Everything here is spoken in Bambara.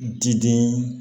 Diden